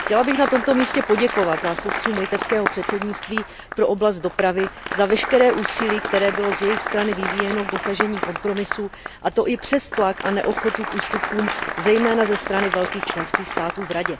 Chtěla bych na tomto místě poděkovat zástupcům litevského předsednictví pro oblast dopravy za veškeré úsilí, které bylo z jejich strany vyvíjeno k dosažení kompromisu, a to i přes tlak a neochotu k ústupkům, zejména ze strany velkých členských států v Radě.